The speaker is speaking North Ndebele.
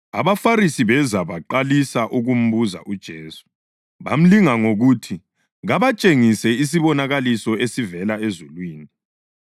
AbaFarisi beza baqalisa ukumbuza uJesu. Bamlinga ngokuthi kabatshengise isibonakaliso esivela ezulwini.